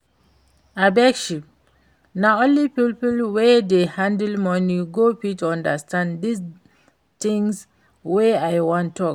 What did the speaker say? Abeg shift, na only people wey dey handle money go fit understand dis thing wey I wan talk